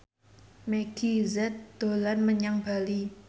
Meggie Z dolan menyang Bali